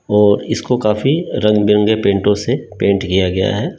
और इसको काफ़ी रंग-बिरंगे पेंटों से पेंट किया गया है।